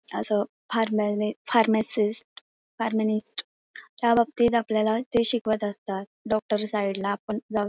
अस फारमान फारमसिस्ट फारमीनिस्ट ह्या बाबतीत ते आपल्याला शिकवत असतात डॉक्टर साइडला आपण जाऊ श--